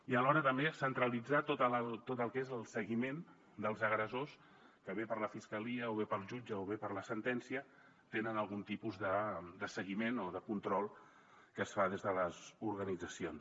i alhora també centralitzar tot el que és el seguiment dels agressors que bé per la fiscalia o bé pel jutge o bé per la sentència tenen algun tipus de seguiment o de control que es fa des de les organitzacions